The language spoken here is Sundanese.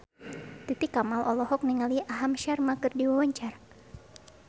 Titi Kamal olohok ningali Aham Sharma keur diwawancara